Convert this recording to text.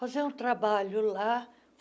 Fazer um trabalho lá.